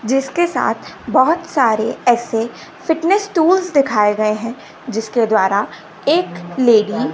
जिसके साथ बहुत सारे ऐसे फिटनेस टूल्स दिखाए गए हैं जिसके द्वारा एक लेडी --